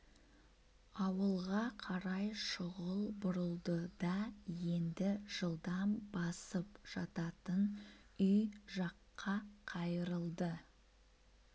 ауылға қарай шұғыл бұрылды да енді жылдам басып жататын үй жакқа қайырылды